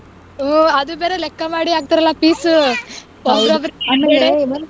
ಹ್ಮ್ ಅದುಬೇರೆ ಲೆಕ್ಕ ಮಾಡಿ ಹಾಕತರಲ್ಲ piece .